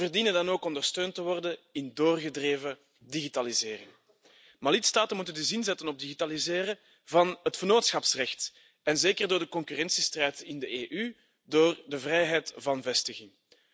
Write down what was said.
Ze verdienen dan ook ondersteund te worden in doorgedreven digitalisering. De lidstaten moeten dus inzetten op het digitaliseren van het vennootschapsrecht, zeker gezien de concurrentiestrijd in de EU door de vrijheid van vestiging.